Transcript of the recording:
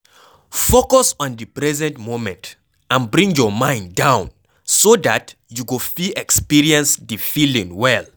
Focus on di present moment and bring your mind down so dat you go fit expereince di feeling well